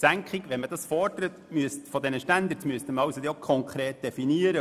Wenn man eine Senkung der Standards fordert, müsste dies konkret definiert werden.